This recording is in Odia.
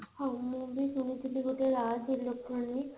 ହଁ ମୁଁ ବି ଶୁଣିଥିଲି ଗୋଟେ dash electronic